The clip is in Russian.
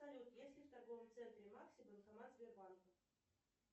салют есть ли в торговом центре макси банкомат сбербанка